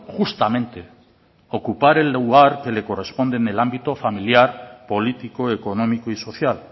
justamente ocupar el lugar que le corresponde en el ámbito familiar político económico y social